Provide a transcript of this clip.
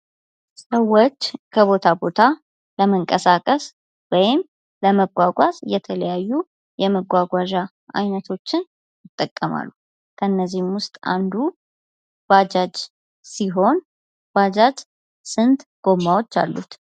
ሰወች ከቦታ ቦታ ለመንቀሳቀስ ወይም ለመጓጓዝ የተለያዩ የመጓጓዣ አይነቶችን ይጠቀማሉ። ከነዚህም ውስጥ አንዱ ባጃጅ ሲሆን ባጃጅ ስንት ጎማወች አሉት?